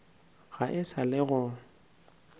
ga e sa le go